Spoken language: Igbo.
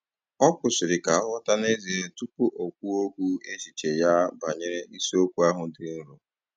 Ọ kwụsịrị ka ọ ghọta n'ezie tupu o kwuo kwuo echiche ya banyere isiokwu ahụ dị nrọ